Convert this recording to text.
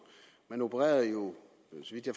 man opererede jo